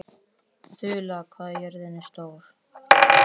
Drauma, hvað er klukkan?